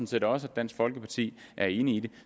set også at dansk folkeparti er enig i det